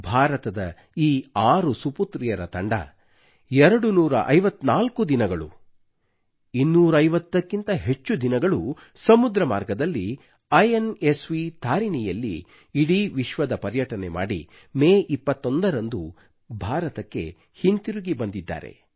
ಭಾರತದ ಈ ಆರು ಸುಪುತ್ರಿಯರ ತಂಡವು ಎರಡುನೂರ ಐವತ್ತನಾಲ್ಕು ದಿನಗಳು 250 ಕ್ಕಿಂತ ಹೆಚ್ಚು ದಿನಗಳು ಸಮುದ್ರ ಮಾರ್ಗದಲ್ಲಿ ಇನ್ಸ್ವ್ ತಾರಿಣಿಯಲ್ಲಿ ಇಡೀ ವಿಶ್ವದ ಪರ್ಯಟನೆ ಮಾಡಿ ಮೇ 21 ರಂದು ಭಾರತಕ್ಕೆ ಹಿಂತಿರುಗಿ ಬಂದಿದ್ದಾರೆ